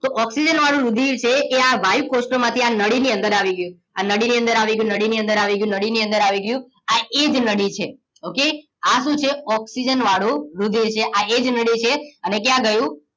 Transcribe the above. તો ઓક્સિજન વાળું રુધિર છે એ આ વાયુકોષ્ઠો માંથી આ નળી ની અંદર આવે ગયું આ નળી ની અંદર આવી ગયું નળી ની અંદર આવી ગયું આ એજ નળી છે ઓકે આ શું છે ઓક્સિજન વાળું રુધિર છે આ એજ નળી છે અને ક્યાં ગયું